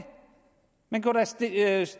men kunne da stille et andet